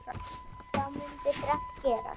Þá mundi þrennt gerast